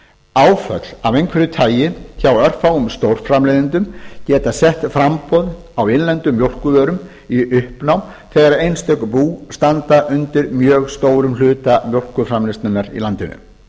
áföll af einhverju tagi hjá örfáum stórframleiðendum geta sett framboð á innlendum mjólkurvörum í uppnám þegar einstök bú standa undir mjög stórum hluta mjólkurframleiðslunnar í landinu